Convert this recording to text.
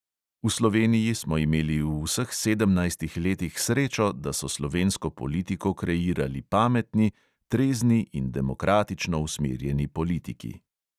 V sloveniji smo imeli v vseh sedemnajstih letih srečo, da so slovensko politiko kreirali pametni, trezni in demokratično usmerjeni politiki.